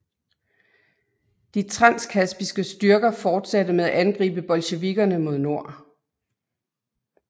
De transkaspiske styrker fortsatte med at angribe bolsjevikkerne mod nord